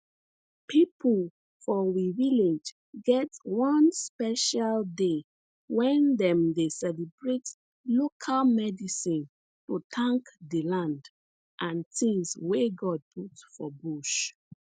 pipo for we village get one special day wen dem dey celebrate local medicine to tank di land and tins wey god put for bush